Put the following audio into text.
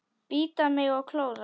Bíta mig og klóra.